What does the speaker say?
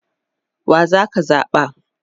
wa zaka zaɓa?